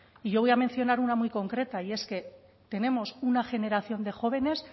y yo voy a mencionar una muy concreta y es que tenemos una generación de jóvenes